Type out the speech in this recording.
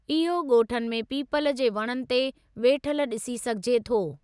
इहो ॻोठनि में पीपल जे वणनि ते वेठल ॾिसी सघिजे थो।